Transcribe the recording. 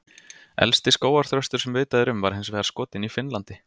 elsti skógarþröstur sem vitað er um var hins vegar skotinn í finnlandi